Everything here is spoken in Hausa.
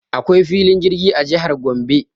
Akwai filin jirgi a jihar Gombe.